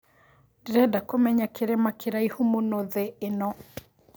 ndĩreda kũmenya kĩrima kĩraihu mũno thĩ ĩno